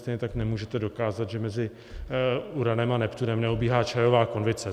Stejně tak nemůžete dokázat, že mezi Uranem a Neptunem neobíhá čajová konvice.